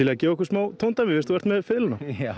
að gefa okkur smá tóndæmi